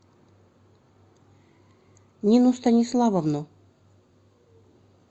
нину станиславовну